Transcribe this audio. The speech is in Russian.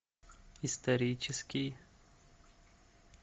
исторический